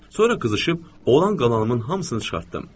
Sonra qızışıb olan qalanımın hamısını çıxartdım.